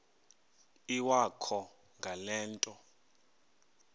iwakho ngale nto